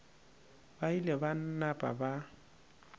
ba ile ba napa ba